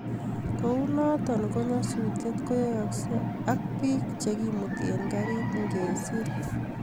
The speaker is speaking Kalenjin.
kunoto ko nyasusiet koyayasgei ak biik chegimuti eng karit ngesiir